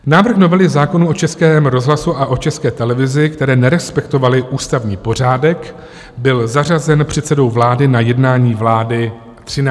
Návrh novely zákonů o Českém rozhlasu a o České televizi, které (?) nerespektovaly ústavní pořádek, byl zařazen předsedou vlády na jednání vlády 13. dubna.